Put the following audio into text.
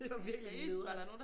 Det var virkelig nedern